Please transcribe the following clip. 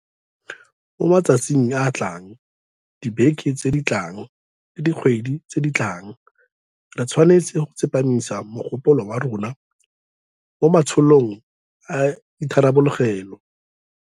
Mo matsatsing a a tlang, dibekeng tse di tlang le dikgweding tse di tlang re tshwanetse go tsepamisa mogopolo wa rona mo ma tsholong a itharabologelo.